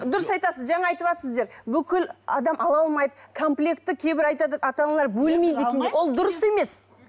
дұрыс айтасыз жаңа айтыватсыздар бүкіл адам ала алмайды комплекті кейбір айтады ата аналар бөлмейді екен деп ол дұрыс емес